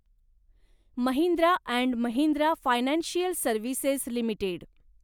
Mahindra and Mahindra financial services limited